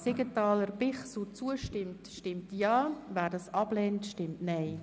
Siegenthaler/ Bichsel annimmt, stimmt Ja, wer diesen ablehnt, stimmt Nein.